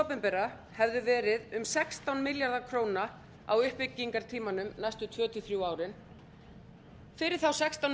opinbera hefðu verið um sextán milljarðar ár uppbyggingartímanum næstu tvö til þrjú árin fyrir þá sextán